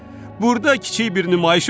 Burda kiçik bir nümayiş olub.